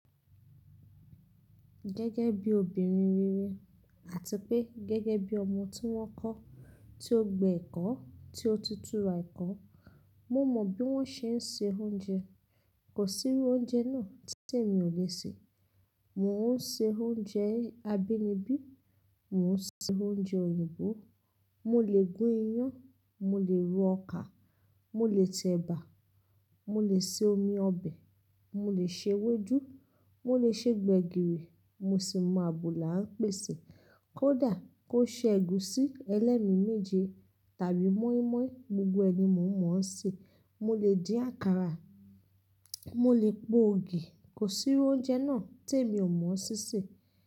Gẹ́gẹ́ bí obìnrin rere àti pé gẹ́gẹ́ bí ọmọ tí wọ́n kọ́, tí ó gbé ẹ̀kọ́, tí ó tutù ra ẹ̀kọ́. Mo mọ bí wọ́n ṣe ń se oúnjẹ. Kò sí irú oúnjẹ náà tí sì mi ò lè sè. Mo ń ṣe oúnjẹ abínibí, mo ń ṣe oúnjẹ òyìnbó, mo lè gún iyán, mo lè ro ọkà, mo lè tẹ ẹ̀bà, mo lè se omi ọbẹ̀, mo lè ṣe ewédú, mo lè ṣe gbẹ̀gìrì, mo sì mọ àbùlà ń pèsè. Kódà kó ṣe ègúsí, ẹlẹ́mi méje tàbí mọ́ímọ́í, gbogbo ẹni mo mọ̀ ọ́n ṣe. Mo lè dín àkàrà, mo lè po ògì. Kò sí irú oúnjẹ náà tí èmi ò mọ sí sè.